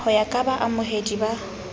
ho ya ka baamohedi ba